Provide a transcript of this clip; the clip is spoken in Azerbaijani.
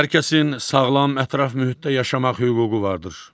Hər kəsin sağlam ətraf mühitdə yaşamaq hüququ vardır.